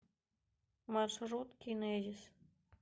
маршрут кинезис